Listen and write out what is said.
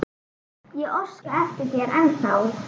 Ég óska eftir þér ennþá.